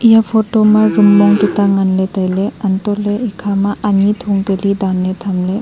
eya photo ma room mong tuita ngan ley tailey antoh ley ekha ma anyi thung kali dan ley tham ley.